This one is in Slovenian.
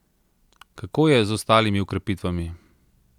Kako je z ostalimi okrepitvami?